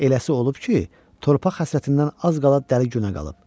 Eləsi olub ki, torpaq həsrətindən az qala dəli günə qalıb.